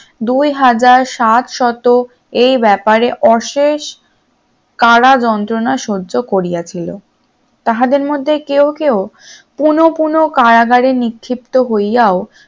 দুই হাজার সাত শতক এ ব্যাপারে অশেষ কারা যন্ত্রণা সহ্য করিয়াছিল তাহাদের মধ্যে কেউ কেউ পুরোপুরি কারাগারে নিক্ষিপ্ত হইয়াও